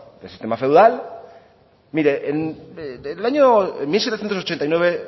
el sistema feudal mire en el año mil setecientos ochenta y nueve